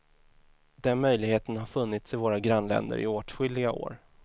Den möjligheten har funnits i våra grannländer i åtskilliga år.